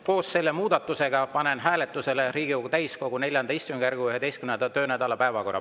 Koos selle muudatusega panen hääletusele Riigikogu täiskogu IV istungjärgu 11. töönädala päevakorra.